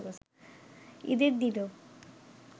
ঈদের দিনও